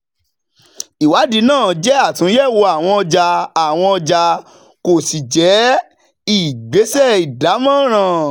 ìwádìí náà jẹ́ àtúnyẹ̀wò àwọn ọjà àwọn ọjà kò sì jẹ́ ìgbésẹ̀ ìdámọ̀ràn.